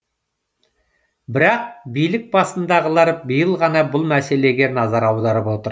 бірақ билік басындағылар биыл ғана бұл мәселеге назар аударып отыр